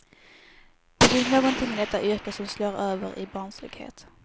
Det finns någonting i detta yrke som slår över i barnslighet.